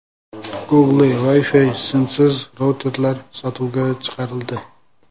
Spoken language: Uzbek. Google Wi-Fi simsiz routerlari sotuvga chiqarildi.